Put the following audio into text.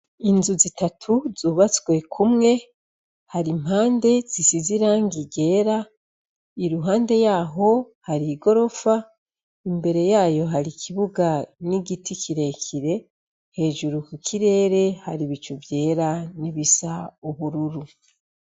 Inzu zitatu zubatswe kumwe hari impande zisize irangi ryera i ruhande yaho hari i gorofa imbere yayo hari ikibuga n'igiti kirekire hejuru ku kirere hari ibicu vyera n'ibisa ubururu.